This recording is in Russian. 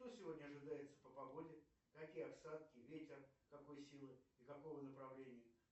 что сегодня ожидается по погоде какие осадки ветер какой силы и какого направления